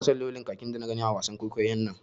Ina son launin kakin da na gani a wasan kwaikwayon.